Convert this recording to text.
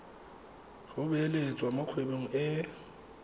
go beeletsa mo kgwebong e